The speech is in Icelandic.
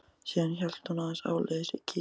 Síðan hélt hún áleiðis til Kýpur.